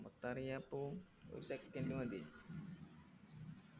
മൊത്താണെങ്കി എപ്പോം ഒരു second മതി